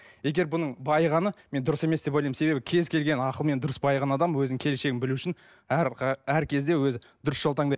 егер бұның байығаны мен дұрыс емес деп ойлаймын себебі кез келген ақылмен дұрыс байыған адам өзінің келіншегін білу үшін әр әр кезде өзі дұрыс жол таңдайды